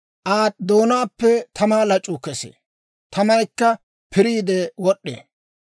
Aa doonaappe tamaa lac'uu kesee; tamaykka piriide wod'd'ee.